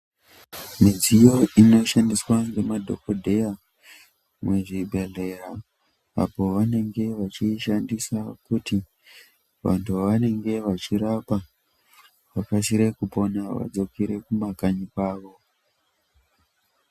Midziyo inoshandiswa nemadhokodheya muzvibhedhleya apo vanenge vachiishandisa kuti vantu vavanenge vachirapa vakasire kuoona vadzikere kumakanyi kwavo.